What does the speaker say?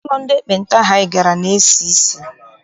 Ụlọ ndị ekpenta ahụ anyị gara na-esi isi.